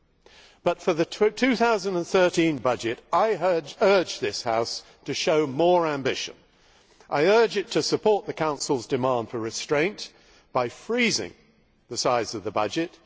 However, for the 2013 budget, I urge this House to show more ambition. I urge it to support the Council's demand for restraint by freezing the size of the budget.